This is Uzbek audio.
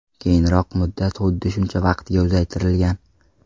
Keyinroq muddat xuddi shuncha vaqtga uzaytirilgan.